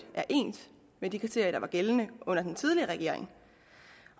er de kriterier der var gældende under den tidligere regering